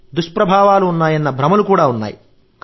దుష్ప్రభావాలు ఉన్నాయన్న భ్రమలు ఉన్నాయి